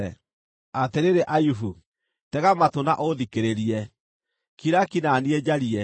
“Atĩrĩrĩ Ayubu, tega matũ na ũũthikĩrĩrie; kira ki na niĩ njarie.